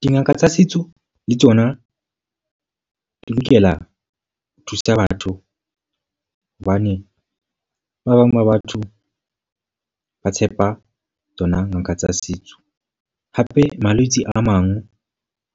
Dingaka tsa setso le tsona di lokela ho thusa batho. Hobane ba bang ba batho ba tshepa tsona ngaka tsa setso. Hape malwetse a mang